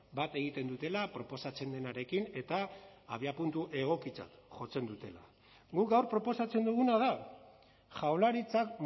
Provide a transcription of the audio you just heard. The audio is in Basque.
bat egiten dutela proposatzen denarekin eta abiapuntu egokitzat jotzen dutela guk gaur proposatzen duguna da jaurlaritzak